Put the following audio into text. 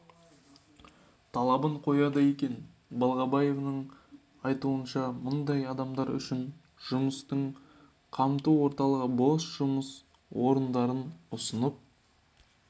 талабын қояды екен балғабаеваның айтуынша мұндай адамдар үшін жұмыспен қамту орталығы бос жұмыс орындарын ұсынып